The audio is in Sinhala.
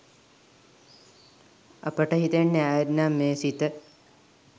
අපට හිතෙන්නෙ ආයෙත් නම් මේ සිත